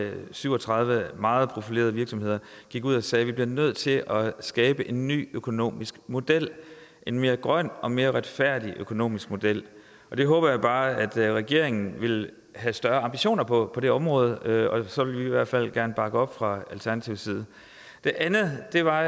med syv og tredive meget profilerede virksomheder gik ud og sagde vi bliver nødt til at skabe en ny økonomisk model en mere grøn og mere retfærdig økonomisk model jeg håber bare at regeringen vil have større ambitioner på det område og så vil vi i hvert fald gerne bakke op fra alternativets side det andet var